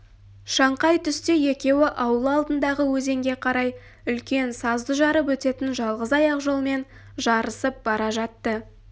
шаңқай түсте екеуі ауыл алдындағы өзенге қарай үлкен сазды жарып өтетін жалғыз аяқ жолмен жарысып бара жатты